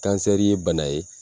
kansɛri ye bana ye